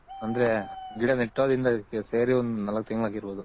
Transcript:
ಅಂದ್ರೆ ಗಿಡ ನೆಟ್ಟುದ್ರಿಂದ ಸೇರಿ ಒಂದು ನಾಲ್ಕ್ ತಿಂಗಳ್ ಆಗಿರ್ಬೌದು .